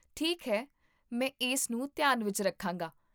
ਠੀਕ ਹੈ, ਮੈਂ ਇਸ ਨੂੰ ਧਿਆਨ ਵਿੱਚ ਰੱਖਾਂਗਾ